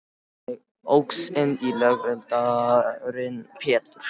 Ég óx inn í lögaldurinn Pétur.